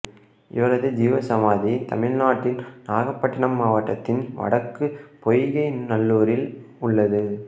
இவரது ஜீவ சமாதி தமிழ்நாட்டின் நாகப்பட்டினம் மாவட்டத்தின் வடக்கு பொய்கை நல்லூரில் உள்ளது